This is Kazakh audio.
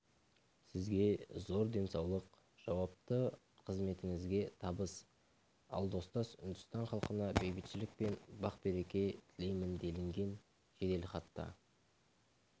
сізге зор денсаулық жауапты қызметіңізге табыс ал достас үндістан халқына бейбітшілік пен бақ-береке тілеймін делінген жеделхатта